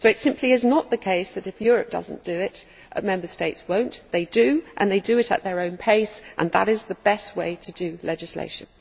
So it simply is not the case that if Europe does not do it, Member States will not they do, and they do it at their own pace, and that is the best way to do legislation.